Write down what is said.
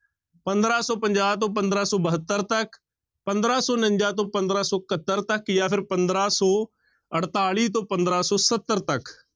ਪੰਦਰਾਂ ਸੌ ਪੰਜਾਹ ਤੋਂ ਪੰਦਰਾਂ ਸੌ ਬਹੱਤਰ ਤੱਕ, ਪੰਦਰਾਂ ਸੌ ਉਣੰਜਾ ਤੋਂ ਪੰਦਰਾਂ ਸੌ ਇਕਹੱਤਰ ਤੱਕ ਜਾਂ ਫਿਰ ਪੰਦਰਾਂ ਸੌ ਅੜਤਾਲੀ ਤੋਂ ਪੰਦਰਾਂ ਸੌ ਸੱਤਰ ਤੱਕ।